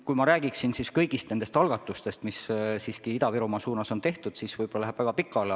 Kui ma räägiksin kõigist nendest algatustest, mis Ida-Virumaa suunas on tehtud, siis võib-olla läheks väga pikale.